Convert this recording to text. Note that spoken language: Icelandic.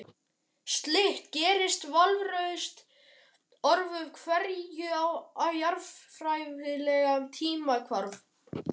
Slíkt gerist vafalaust öðru hverju á jarðfræðilegum tímakvarða.